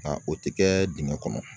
Nka o tɛ kɛ dingɛ kɔnɔ